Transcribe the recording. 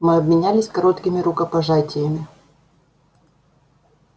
мы обменялись короткими рукопожатиями